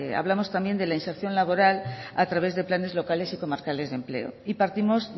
hablamos también de la inserción laboral a través de planes locales y comarcales de empleo y partimos